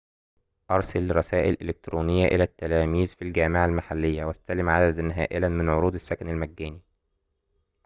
أرسل رسائل إلكترونية إلى التلاميذ في الجامعة المحلية واستلم عددًا هائلاً من عروض السكن المجاني